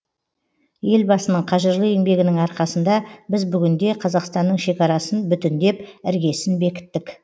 елбасының қажырлы еңбегінің арқасында біз бүгінде қазақстанның шекарасын бүтіндеп іргесін бекіттік